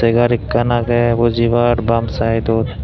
segar ekkan agey bujibar bam saedot.